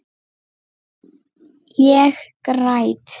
Ég græt.